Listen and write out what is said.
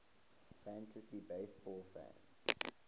fantasy baseball fans